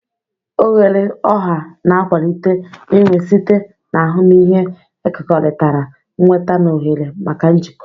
Oghere ọha na-akwalite inwe site na ahụmịhe ekekọrịtara, nnweta na ohere maka njikọ.